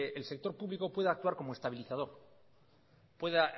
el sector público pueda